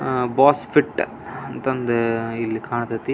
ಅಹ್ boss fit ಅಂತ ಅಂದ ಇಲ್ಲಿ ಕಾಂತತಿ.